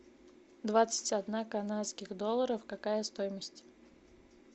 двадцать одна канадских долларов какая стоимость